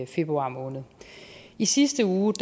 februar måned i sidste uge